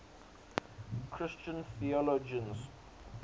christian theologians